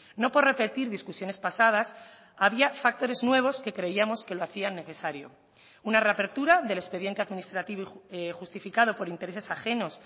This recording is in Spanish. no por repetir discusiones pasadas había factores nuevos que creíamos que lo hacían necesario una reapertura del expediente administrativo justificado por intereses ajenos